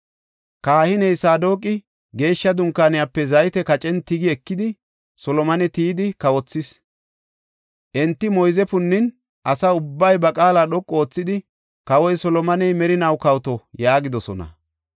Kahiney Saadoqi Geeshsha Dunkaaniyape zayte kacen tigi ekidi, Solomone tiyidi kawothis. Enti moyze punnin, asa ubbay ba qaala dhoqu oothidi, “Kawoy Solomoney merinaw kawoto!” yaagidosona.